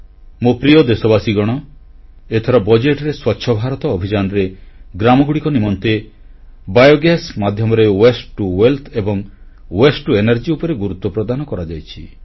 ମୋ ପ୍ରିୟ ଦେଶବାସୀଗଣ ଏଥର ବଜେଟରେ ସ୍ୱଚ୍ଛ ଭାରତ ଅଭିଯାନରେ ଗ୍ରାମଗୁଡ଼ିକ ନିମନ୍ତେ ବାୟୋଗ୍ୟାସ ମାଧ୍ୟମରେ ୱାସ୍ତେ ଟିଓ ୱେଲ୍ଥ ଏବଂ ୱାସ୍ତେ ଟିଓ ଏନର୍ଜି ଉପରେ ଗୁରୁତ୍ୱ ପ୍ରଦାନ କରାଯାଇଛି